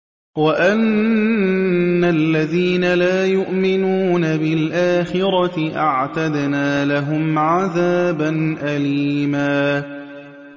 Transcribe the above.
وَأَنَّ الَّذِينَ لَا يُؤْمِنُونَ بِالْآخِرَةِ أَعْتَدْنَا لَهُمْ عَذَابًا أَلِيمًا